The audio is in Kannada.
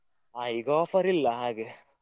ಹಾ ಈಗ offer ಇಲ್ಲಾ ಹಾಗೆ.